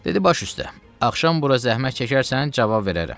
Dedi: baş üstə, axşam bura zəhmət çəkərsən, cavab verərəm.